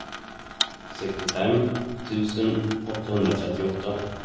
sextiofem tusen åttahundratrettioåtta